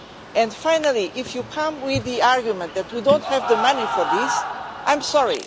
And finally, if you come with the argument that we don't have the money for this, I'm sorry.